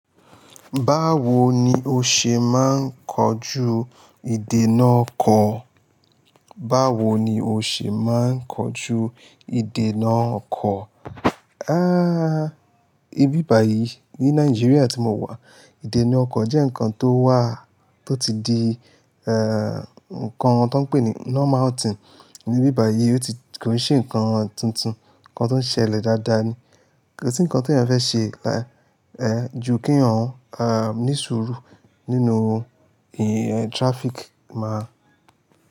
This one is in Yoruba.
Báwo ni o ṣe máa ń kojú ìdènà ọkọ̀? Báwo ni o ṣe máa ń kojú ìdènà ọkọ̀? Há! Ibíbàyí, ní Nàìjíríà tí mo wà, ìdènà ọkọ̀ jẹ́ ǹkan tó wà, tó ti di, ẹ, ǹkan tó ń pè ní normal thing ní ibíbàyí, ó ti kò ṣe ǹkan tuntun, ǹkan tó ń ṣẹlẹ̀ dáadáa ni. Kò sí ǹkan tí èyàn fẹ́ ṣe ju kí eyan, ní sùúrù nínú traffic má.